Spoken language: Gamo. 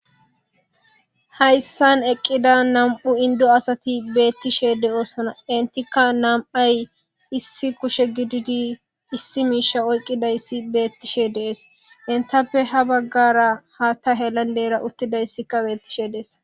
hayssan eqqida nam7u indo asati beettishe de7oosona intikka nam7ay issi kushe gididi issi miisha oyqqidayssi beettishe dees intappe ha baggara haa ta helan leera uttidayssikka beettishe dees